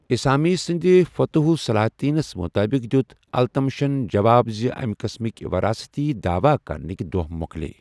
اِسامی سٕنٛدِ فتوح الصلاتینَس مُطٲبِق دِیُوت التمشَن جواب زِ اَمہِ قسٕمٕکہِ وَراثتی دعوٕا کرنٕکہِ دۄہ مۄکٕلیے ۔